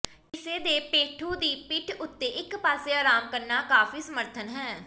ਕਿਸੇ ਦੇ ਪੇਡੂ ਦੀ ਪਿੱਠ ਉੱਤੇ ਇਕ ਪਾਸੇ ਆਰਾਮ ਕਰਨਾ ਕਾਫ਼ੀ ਸਮਰਥਨ ਹੈ